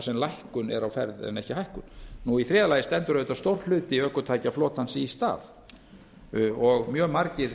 sem lækkun er á ferð en ekki hækkun í þriðja lagi stendur auðvitað stór hluti ökutækjaflotans í stað og mjög margir